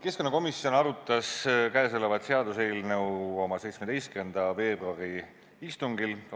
Keskkonnakomisjon arutas seda seaduseelnõu oma 17. veebruari istungil.